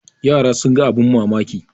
yara sun ga abin mamaki